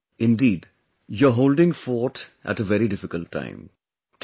Surekha ji, indeed, you are holding fort in a very difficult time